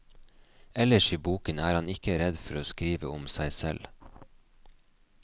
Ellers i boken er han ikke redd for å skrive om seg selv.